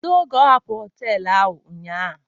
Kedu oge ọ hapụrụ họtelu a ụnyaahụ?